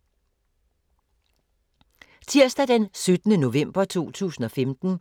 Tirsdag d. 17. november 2015